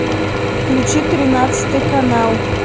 включи тринадцатый канал